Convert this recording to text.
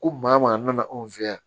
Ko maa o maa nana anw fɛ yan